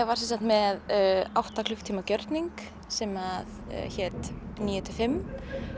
var sem sagt með átta klukkutíma gjörning sem hét níu til fimm